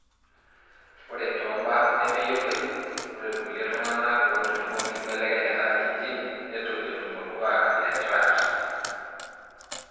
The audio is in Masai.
ore tombaa nemeyioloi, ore ilkulie tungana otujungo enkibelekenyata e gene netu etum olkuak le TRAPS.